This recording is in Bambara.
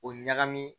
O ɲagami